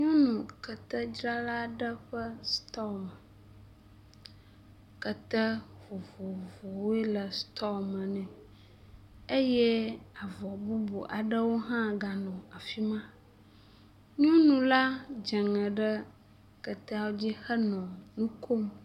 Nyɔnu ketedzrala aɖe ƒe stɔl me, kete vovovowo le stɔl me nɛ eye avɔ bubu aɖewo hã ganɔ afi ma. nyɔnu la dze ŋe ɖe keteawo dzi henɔ nu kom.